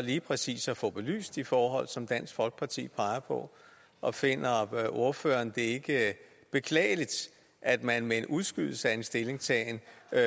lige præcis at få belyst de forhold som dansk folkeparti peger på og finder ordføreren det ikke beklageligt at man med en udskydelse af en stillingtagen